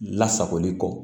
Lasagoli kɔ